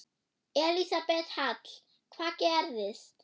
Elísabet Hall: Hvað gerðist?